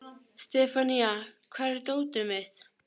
Sefanía, hvar er dótið mitt?